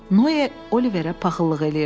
Noe Oliverə paxıllıq eləyirdi.